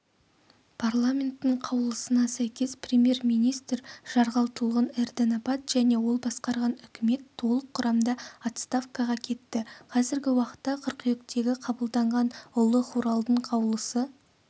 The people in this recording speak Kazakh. парламенттің қаулысына сәйкес премьер-министр жарғалтұлғын эрдэнэбат және ол басқарған үкімет толық құрамда отставкаға кетті қазіргі уақытта қыркүйектегі қабылданған ұлы хуралдың қаулысы